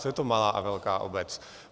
Co je to malá a velká obec?